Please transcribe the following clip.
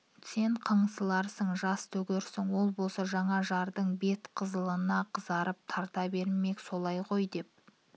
сен қыңсыларсың жас төгерсің ол болса жаңа жардың бет қызылына қызығып тарта бермек солай ғой деп